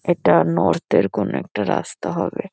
এটা নর্থ -এর কোনো একটা রাস্তা হবে।